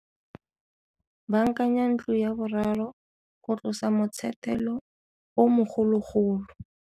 Baakanya ntlo 3 go tlosa motshetelo o mogologolo.